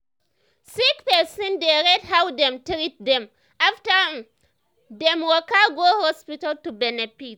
sick person dey rate how dem treat dem after um dem waka go hospital to benefit.